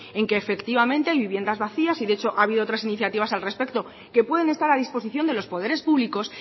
en que efectivamente hay viviendas vacías y de hecho ha habido otras iniciativas al respecto que pueden estar a disposición de los poderes públicos